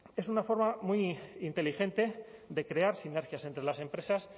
es una forma muy inteligente de crear sinergias entre las empresas